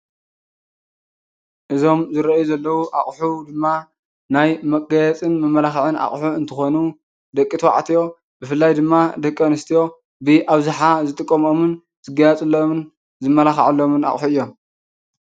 እዞም ዝረአዩ ዘለዉ ኣቑሑ ድማ ናይ መጋየፅን መመላክዕን ኣቑሑ እንትኾኑ ደቂ ተባዕትዮ ብፍላይ ድማ ደቂ ኣንስትዮ ብኣብዝሓ ዝጥቀማሉን ዝጋየፅሎምን ዝመላኩዑሎም ኣቑሑ እዮም።